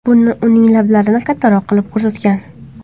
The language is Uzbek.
Bu uning lablarini kattaroq qilib ko‘rsatgan.